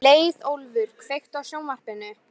Leiðólfur, kveiktu á sjónvarpinu.